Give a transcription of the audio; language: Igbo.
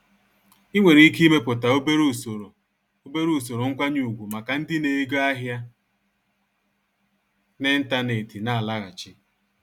Ị nwèrè iké imépùta obere ùsòrò obere ùsòrò nkwányé ùgwù màkà ndị na ego ahịa n'ịntanetị na-àlaghàchi.